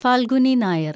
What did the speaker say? Falguni Nair